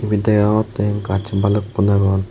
ebay degogotay gasun balukun aagon.